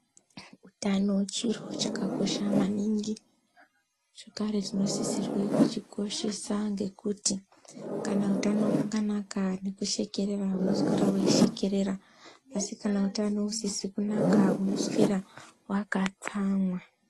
Utano chiro chakakosha maningi zvekare tinosisa kuchikoshesa ngekuti kana utano hwakanaka nekushekerera unoswera weishekerera asi kahusina kunaka unoswera wakatsamwa.